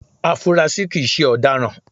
Afunrasí kìí se ọ̀daràn